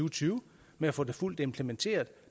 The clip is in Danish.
og tyve med at få det fuldt implementeret